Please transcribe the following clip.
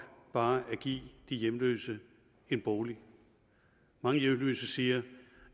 bare at give de hjemløse en bolig mange hjemløse siger